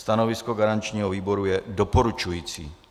Stanovisko garančního výboru je doporučující.